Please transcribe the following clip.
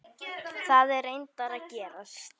Það er reyndar að gerast.